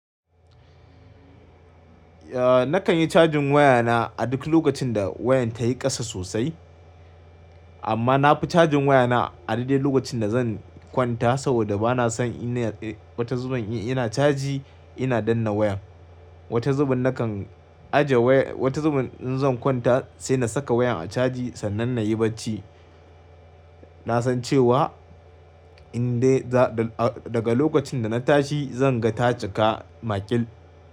Nakan yi cajin wayana a duk lokacin da wayan tayi kasa sosai. Amma na fi cajin wayana a dai dai lokacin da zan kwanta saboda bana son ina wata zubin ina caji ina danna wayan. Wata zubin nakan aje waya wata zubin in zan kwanta sai na saka wayan a caji sannan na yi bacci. Na san cewa in dai da daga lokacin da na tashi zan ga ta cika maƙil.